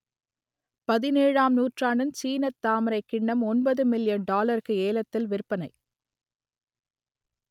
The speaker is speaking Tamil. பதினேழாம் நூற்றாண்டின் சீனத் தாமரைக் கிண்ணம் ஒன்பது மில்லியன் டாலருக்கு ஏலத்தில் விற்பனை